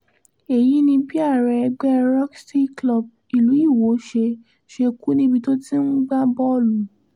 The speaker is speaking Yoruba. èyí ni bí ààrẹ ẹgbẹ́ rotyx club ìlú iwọ ṣe ṣe kú níbi tó ti ń gbá bọ́ọ̀lù